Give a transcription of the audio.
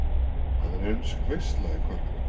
Það er ensk veisla í kvöld